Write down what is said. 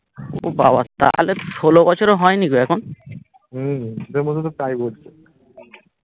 ও বাবা তাহলে ষোল বছরও হয়নি গো এখন